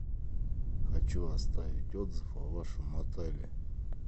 хочу оставить отзыв о вашем отеле